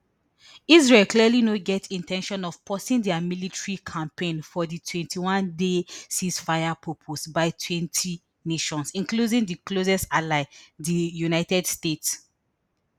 israel clearly no get in ten tion of pausing dia military campaign for di twenty-oneday ceasefire propose by twelve nations including di closest ally di united states